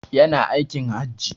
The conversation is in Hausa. Ya na aikin Hajji.